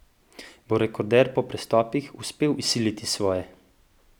Bo rekorder po prestopih uspel izsiliti svoje?